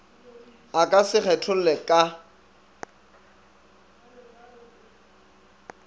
a ka se kgetholle ka